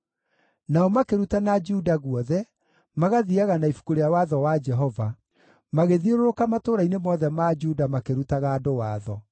Nao makĩrutana Juda guothe, magathiiaga na Ibuku rĩa Watho wa Jehova; magĩthiũrũrũka matũũra-inĩ mothe ma Juda makĩrutaga andũ watho.